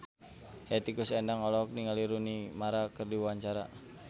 Hetty Koes Endang olohok ningali Rooney Mara keur diwawancara